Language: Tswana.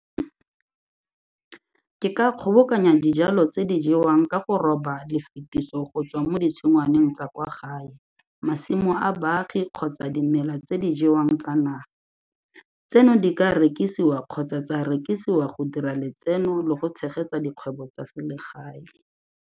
Ke ka kgobokanya dijalo tse di jewang ka go roba lefitiso go tswa mo ditshingwaneng tsa kwa gae, masimo a baagi kgotsa dimela tse di jewang tsa naga. Tseno di ka rekisiwa kgotsa tsa rekisiwa go dira letseno le go tshegetsa dikgwebo tsa selegae.